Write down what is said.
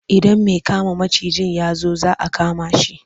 Idan mai kama macijin ya zo za a kama shi.